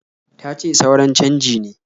Tace suran canji ne.